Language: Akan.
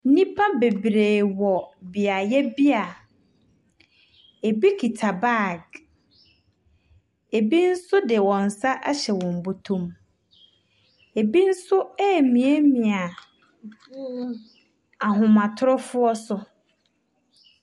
Nnpa bebree wɔ beaeɛ bi a ebi kita bag. Ebi nso de wɔn sa ahyɛ wɔn bɔtɔ mu. Ebi nso remiamia ahomatrofoɔ so.